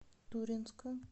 туринска